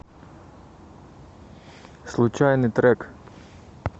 случайный трек